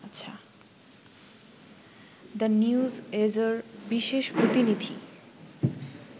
the নিউএজর বিশেষ প্রতিনিধি